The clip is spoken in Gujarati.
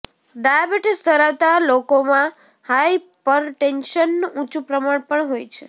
ડાયાબિટીસ ધરાવતા લોકોમાં હાયપરટેન્શનનું ઊંચું પ્રમાણ પણ હોય છે